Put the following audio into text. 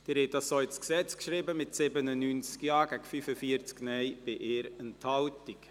Sie haben der FiKo-Mehrheit zugestimmt, mit 95 Ja- gegen 47 Nein-Stimmen bei 1 Enthaltung.